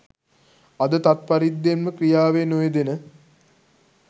අද තත් පරිද්දෙන්ම ක්‍රියාවේ නොයෙදෙන